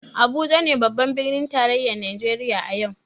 Abuja ne babban birnin tarayyar Najeriya a yau.